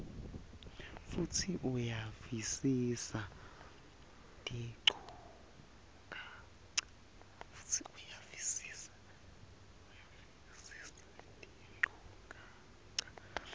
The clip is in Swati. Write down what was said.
futsi uyavisisa tinchukaca